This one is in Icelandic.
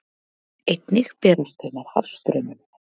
Einnig berast þau með hafstraumum.